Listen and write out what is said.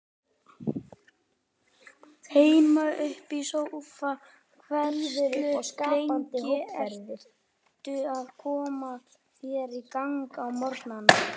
Heima upp í sófa Hversu lengi ertu að koma þér í gang á morgnanna?